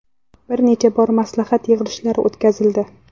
Bir necha bor maslahat yig‘ilishlari o‘tkazildi.